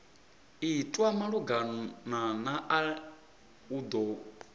itwa malugana nae u do